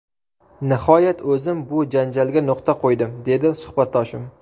Nihoyat, o‘zim bu janjalga nuqta qo‘ydim, – dedi suhbatdoshim.